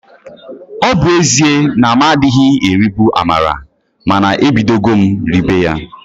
Ọ bu ezie na m adịghị eribu amala mana ebidogo m ribe ya